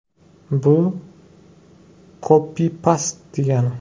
Bu kopi-past degani.